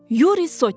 Yuri Sotnik.